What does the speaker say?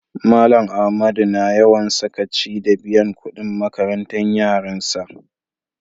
Mallam Ahmadu na yawan sakaci da biyan kudin makarantan yaran sa.